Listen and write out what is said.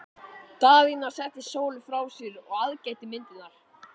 Daðína setti Sólu frá sér og aðgætti myndirnar.